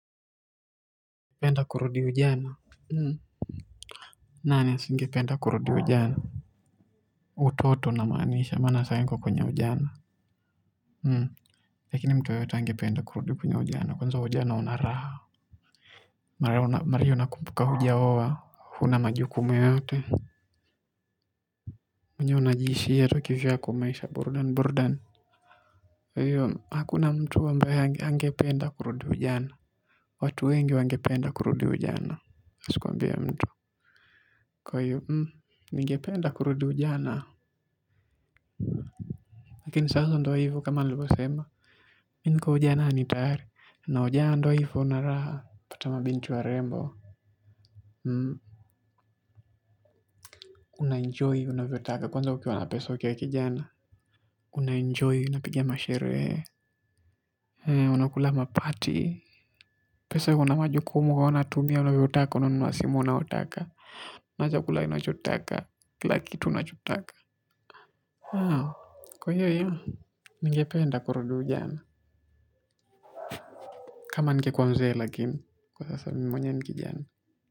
Penda kurudi ujana nani asingependa kurudi ujana utoto namaanisha maana sahi niko kwenye ujana lakini mtu yeyote angependa kurudi kunye ujana kwanza ujana una raha mara hiyo unakumbuka hujaoa huna majukumu yoyote mwenyewe unajiishia tu kivyako maisha burudani burudani kwa hivyo hakuna mtu ambaye hangependa kurudi ujana watu wengi wangependa kurudi ujana. Asikuambie mtu kwa hiyo ningependa kurudi ujana lakini sasa ndiyo hivyo kama nilivyosema, mimi niko ujananani tayari, na ujana ndiyo hivyo una raha, unapata mabinti warembo, unaenjoy, unavyotaka, kwanza ukiwa na pesa ukiwa kijana, unaenjoy, unapigia masherehe, unakula mapati, peso haina majukumu, unatumia, unavyotaka, unanunua simu, unayotaka, unakula chakula unachotaka, kila kitu unachotaka. Wow kwa hivyo ningependa kurudi ujana kama ningekuwa mzee lakini kwa sasa mimi mwenyewe ni kijana.